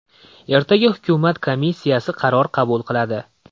Ertaga hukumat komissiyasi qaror qabul qiladi.